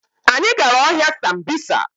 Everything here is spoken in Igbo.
Anyị gara ọhịa sambisa